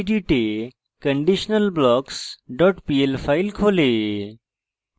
এটি gedit এ conditionalblocks pl file খোলে